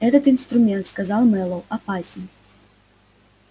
этот инструмент сказал мэллоу опасен